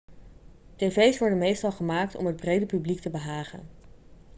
tv's worden meestal gemaakt om het brede publiek te behagen